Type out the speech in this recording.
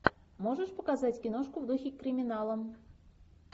можешь показать киношку в духе криминала